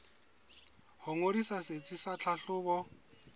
ho ngodisa setsi sa tlhahlobo